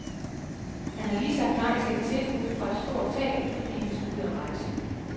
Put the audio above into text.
Han har lige sagt nej til et tilbud fra et stort teater, fordi han skal ud at rejse.